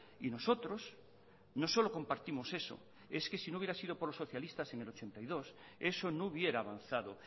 y nosotros no solo compartimos eso es que si no hubiera sido por los socialistas en el ochenta y dos eso no hubiera avanzado